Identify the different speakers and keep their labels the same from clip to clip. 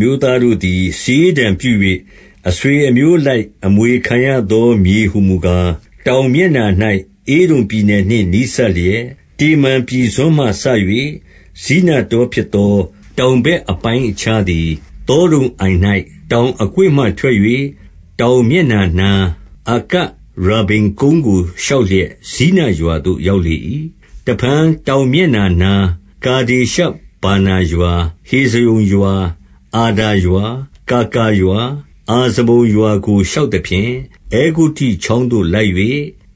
Speaker 1: မျိုးသားတို့သည် စာရေးတံပြု၍ အဆွေ အမျိုးအလိုက် အမွေခံရသောမြေဟူမူကား၊ တောင်မျက် နှာ၌ ဧဒုံပြည်နယ်နှင့် နီးစပ်လျက်၊ တေမန်ပြည်စွန်းမှ စ၍ ဇိနတောဖြစ်သော၊ 2 တောင်ဘက်အပိုင်းအခြားသည် သောဒုံအိုင်၌ တောင်အကွေ့မှထွက်၍၊ 3 တောင်မျက်နှာနား၊ အကရဗ္ဗိမ်ကုန်းကို ရှောက် လျက် ဇိနရွာသို့ ရောက်လေ၏။ တဖန် တောင်မျက်နှာ နား၊ ကာဒေရှဗာနာရွာ၊ ဟေဇရုန်ရွာ၊ အာဒါရွာ၊ ကာကာ ရွာ၊ 4 အဇမုန်ရွာကို ရှောက်သဖြင့် အဲဂုတ္တုချောင်းသို့ လိုက်၍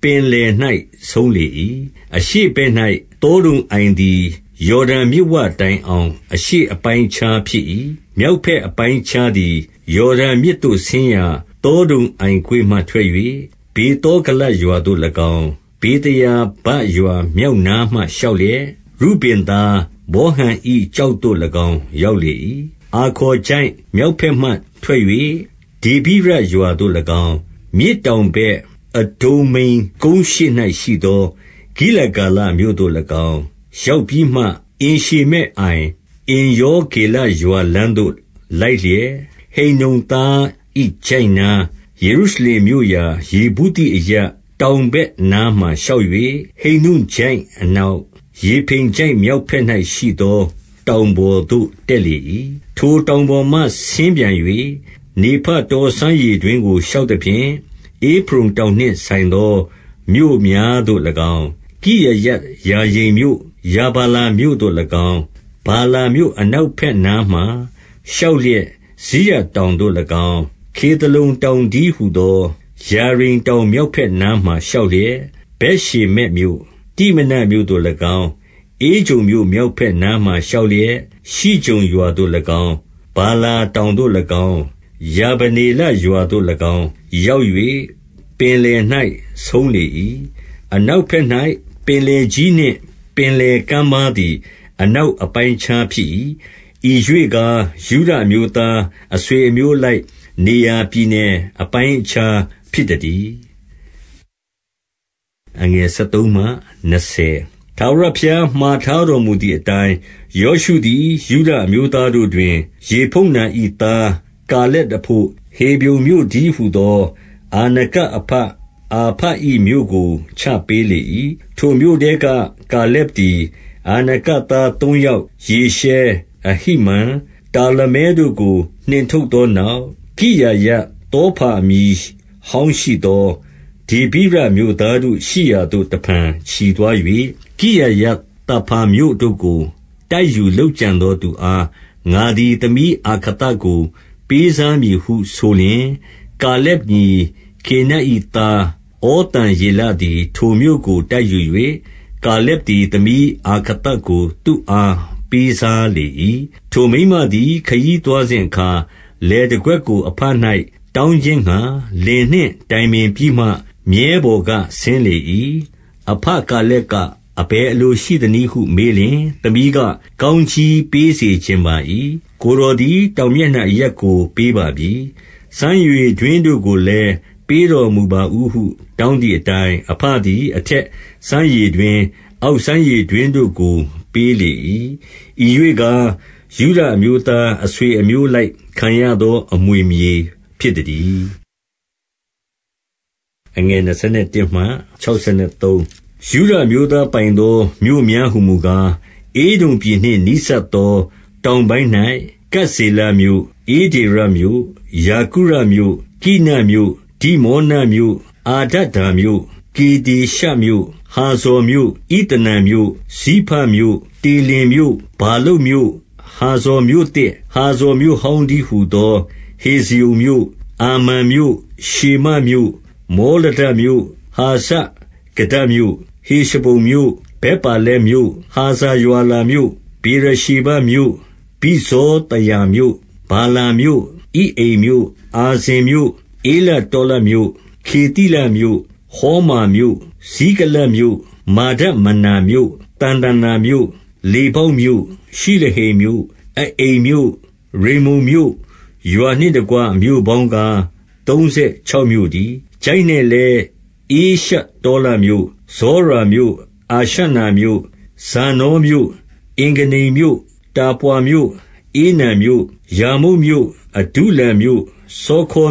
Speaker 1: ပင်လယ်၌ ဆုံးလေ၏။ 5 အရှေ့ဘက်၌ သောဒုံအိုင်သည် ယော်ဒန်မြစ်ဝ တိုင်အောင် အရှေ့အပိုင်းအခြားဖြစ်၏။ မြောက်ဘက် အပိုင်းအခြားသည် ယော်ဒန်မြစ်သို့ဆင်းရာ သောဒုံအိုင် ကွေ့မှ ထွက်၍၊ 6 ဗေသောဂလရွာသို့၎င်း၊ ဗေသရာဗရွာ မြောက် နားမှာရှောက်လျက် ရုဗင်သားဗောဟန်၏ ကျောက်သို့ ၎င်း ရောက်လေ၏။ 7 အာခေါ်ချိုင့်မြောက်ဘက်မှထွက်၍ ဒေဗိရရွာ သို့၎င်း၊ မြစ်တောင်ဘက် အဒုမ္မိမ်ကုန်းရှေ့၌ရှိသော ဂိလဂါလမြို့သို့၎င်း ရောက်ပြီးမှ၊ အင်ရှေမက်အိုင်၊ အင်္ရော ဂေလရွာလမ်းသို့ လိုက်လျက်၊ 8 ဟိန္နုံသား၏ချိုင့်နား ယေရုရှလင်မြို့ရာ ယေဗု သိအရပ် တောင်ဘက်နားမှာရှောက်၍ ဟိန္နုံချိုင့်အ နောက်၊ ရေဖိမ်ချိုင့်မြောက်ဘက်၌ရှိသော တောင်ပေါ်သို့ တက်လေ၏။ 9 ထိုတောင်ပေါ်မှဆင်းပြန်၍၊ နေဖတောစမ်းရေ တွင်းကို ရှောက်သဖြင့် ဧဖရုန်တောင်နှင့်ဆိုင်သော မြို့ များသို့၎င်း၊ ကိရယတ်ယာရိမ်မြို့ ရာဗာလာမြို့သို့၎င်း၊ 10 ဗာလာမြို့အနောက်ဘက်နားမှာ ရှောက်လျက် စိရတောင်သို့၎င်း၊ ခေသလုန်တောင်တည်းဟူသော ယာရိမ်တောင်မြောက်ဘက်နားမှာ ရှောက်လျက် ဗက်ရှေ မက်မြို့၊ တိမနာမြို့သို့၎င်း၊ 11 ဧကြုန်မြို့မြောက်ဘက်နားမှာ ရှောက်လျက် ရှိကြုန်ရွာသို့၎င်း၊ ဗာလာတောင်သို့၎င်း၊ ယာဗနေလရွာသို့ ၎င်း၊ ရောက်၍ ပင်လယ်၌ ဆုံးလေ၏။ 12 အနောက်ဘက်၌ ပင်လယ်ကြီးနှင့် ပင်လယ် ကမ်းပါးသည် အနောက်အပိုင်းအခြားဖြစ်၏။ ဤရွေ့ ကား ယုဒအမျိုးသား အဆွေအမျိုးအလိုက် နေရာပြည် နယ်အပိုင်းအခြားဖြစ်သတည်း။ 13 ထာဝရဘုရားမှာထားတော်မူသည်အတိုင်း၊ ယောရှုသည် ယုဒအမျိုးသားတို့တွင် ယေဖုန္န၏သား ကာ လက်အဘို့ ဟေဗြုန်မြို့တည်းဟူသော အာနကအဘအာ ဘ၏မြို့ကို ချပေးလေ၏။ 14 ထိုမြို့ထဲက ကာလက်သည် အာနကသားသုံး ယောက်၊ ရှေရှဲ၊ အဟိမန်၊ တာလမဲတို့ကို နှင်ထုတ်သော နောက်၊ 15 ကိရယဿေဖါအမည်ဟောင်းရှိသော ဒေဗိရ မြို့သားတို့ရှိရာသို့ တဖန်ချီသွား၍၊ 16 ကိရယဿေဖါမြို့ကို တိုက်ယူလုပ်ကြံသောသူ အား ငါသည် သမီးအာခသကို ပေးစားမည်ဟုဆိုလျှင်၊ 17 ကာလက်ညီ ကေနတ်၏သား ဩသံယေလ သည် ထိုမြို့ကိုတိုက်ယူ၍ ကာလက်သည် သမီးအာခသကို သူ့အားပေးစားလေ၏။ 18 ထိုမိန်းမသည် ခရီးသွားစဉ်အခါ၊ လယ်တကွက် ကို အဘ၌ တောင်းခြင်းငှါ လင်နှင့်တိုင်ပင်ပြီးမှ မြည်းပေါ် ကဆင်းလေ၏။ အဘကာလက်က အဘယ်အလိုရှိသ နည်းဟု မေးလျှင်၊ 19 သမီးက ကောင်းကြီးပေးစေချင်ပါ၏။ ကိုယ် တော်သည် တောင်မျက်နှာအရပ်ကို ပေးပါပြီ။ စမ်းရေ တွင်းတို့ကိုလည်း ပေးတော်မူပါဦးဟု တောင်းသည်အ တိုင်း အဘသည် အထက်စမ်းရေတွင်း၊ အောက်စမ်းရေ တွင်းတို့ကို ပေးလေ၏။ 20 ဤရွေ့ကား၊ ယုဒအမျိုးသား အဆွေအမျိုးအ လိုက် ခံရသောအမွေမြေ ဖြစ်သတည်း။ 21 ယုဒအမျိုးသားပိုင်သော မြို့များဟူမူကား၊ ဧဒုံ ပြည်နှင့်နီးစပ်သော တောင်ပိုင်း၌ ကပ်ဇေလမြို့၊ ဧဒေရ မြို့၊ ယာဂုရမြို့၊ 22 ကိနမြို့၊ ဒိမောနမြို့၊ အာဒဒါမြို့၊ 23 ကေဒေရှမြို့၊ ဟာဇော်မြို့၊ ဣသနန်မြို့၊ 24 ဇိဖမြို့၊ တေလင်မြို့၊ ဗာလုတ်မြို့၊ 25 ဟာဇော်မြို့သစ်၊ ဟာဇော်မြို့ဟောင်းတည်းဟူ သော ဟေဇရုန်မြို့၊ 26 အာမန်မြို့၊ ရှေမမြို့၊ မောလဒမြို့၊ 27 ဟာဇာဂဒ္ဒမြို့၊ ဟေရှမုန်မြို့၊ ဗက်ပါလက်မြို့၊ 28 ဟာဇာရွာလမြို့၊ ဗေရရှေဘမြို့၊ ဗိဇ္ဇောသယာ မြို့၊ 29 ဗာလာမြို့၊ ဣအိမ်မြို့၊ အာဇင်မြို့၊ 30 ဧလတောလဒ်မြို့၊ ခေသိလမြို့၊ ဟောမာမြို့၊ 31 ဇိကလတ်မြို့၊ မာဒမန္နာမြို့၊ သံသန္နာမြို့၊ 32 လေဗောက်မြို့၊ ရှိလဟိမ်မြို့၊ အအိန်မြို့၊ ရိမ္မုန် မြို့၊ ရွာနှင့်တကွ မြို့ပေါင်းကား သုံးဆယ်ခြောက်မြို့ တည်း။ 33 ချိုင့်၌လည်း ဧရှတောလမြို့၊ ဇောရာမြို့၊ အာရှ နာမြို့၊ 34 ဇာနောမြို့၊ အင်္ဂန္နိမ်မြို့၊ တာပွါမြို့၊ ဧနံမြို့၊ 35 ယာမုတ်မြို့၊ အဒုလံမြို့၊ စောခေ